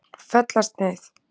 Fellasneið